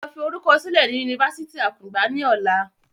Lọ fi orúkọ sílẹ̀ ni Yunifásítì akungba ni ọ̀la!